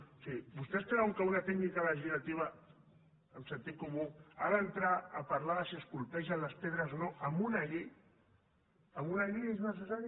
o sigui vostès creuen que una tècnica legislativa amb sentit comú ha d’entrar a parlar de si es colpegen les pedres o no en una llei en una llei és necessari